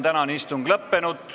Tänane istung on lõppenud.